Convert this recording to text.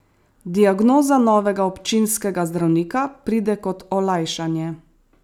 Diagnoza novega občinskega zdravnika pride kot olajšanje.